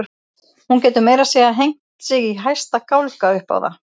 Hún getur meira að segja hengt sig í hæsta gálga upp á það.